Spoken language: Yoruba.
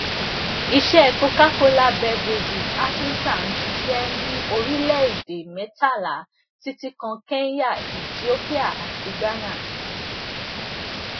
iṣẹ cocacola beverages africa ń ṣiṣẹ ní orílẹèdè mẹtàlá títí kan kenya ethiopia àti ghana